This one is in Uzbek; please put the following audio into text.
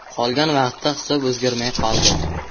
Qolgan vaqtda hisob o‘zgarmay qoldi.